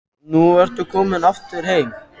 Og nú ertu komin aftur heim?